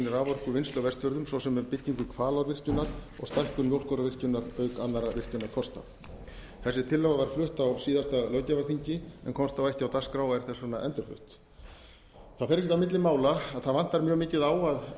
raforkuvinnslu á vestfjörðum svo sem með byggingu hvalárvirkjunar og stækkun mjólkárvirkjunar auk annarra virkjunarkosta þessi tillaga þessi var flutt á síðasta löggjafarþingi en komst þá ekki á dagskrá og er þess vegna endurflutt það fer ekkert á milli mála að það vantar mjög mikið á að